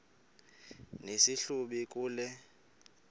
nesi hlubi kule